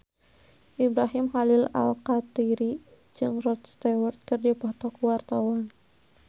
Ibrahim Khalil Alkatiri jeung Rod Stewart keur dipoto ku wartawan